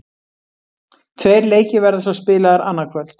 Tveir leikir verða svo spilaðir annað kvöld.